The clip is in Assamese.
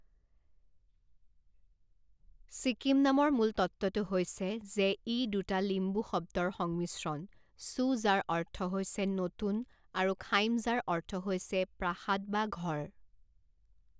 ছিকিম নামৰ মূল তত্ত্বটো হৈছে যে ই দুটা লিম্বু শব্দৰ সংমিশ্ৰণ চু যাৰ অৰ্থ হৈছে নতুন আৰু খাইম যাৰ অৰ্থ হৈছে প্ৰাসাদ বা ঘৰ।